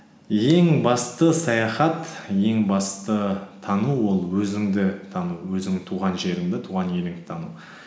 ең басты саяхат ең басты тану ол өзіңді тану өзіңнің туған жеріңді туған еліңді тану